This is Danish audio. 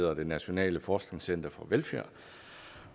er det nationale forskningscenter for velfærd